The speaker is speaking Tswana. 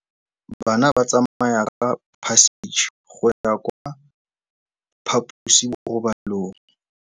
Bana ba tsamaya ka phašitshe go ya kwa phaposiborobalong.